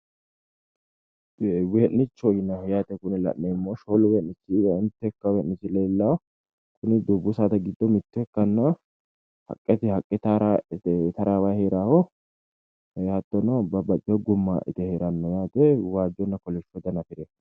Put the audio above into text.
Wee'nichoho yinayiiho yaate kuni la'neemmohu shoolu wee'nichi mitte akkawaawera leellawo kuni dubbu saada giddo mitto ikkannoha haqqeteyi haqqe taraawayi heerannoho hattono babbaxxiteyo gumma ite heerannoho waajjonna kolishsho dana afirino.